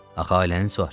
Axı ailəniz var.